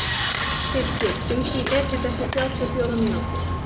Fylkir, hringdu í Edith eftir þrjátíu og fjórar mínútur.